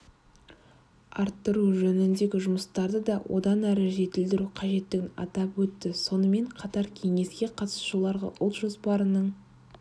арттыру жөніндегі жұмыстарды да одан әрі жетілдіру қажеттігін атап өтті сонымен қатаркеңеске қатысушыларға ұлт жоспарының